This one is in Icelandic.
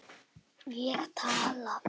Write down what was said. Ég tala.